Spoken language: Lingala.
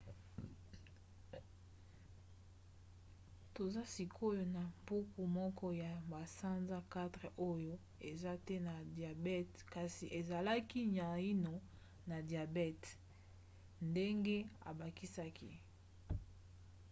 toza sikoyo na mpuku moko ya basanza 4 oyo eza te na diabete kasi ezalaki naino na diabete ndenge abakisaki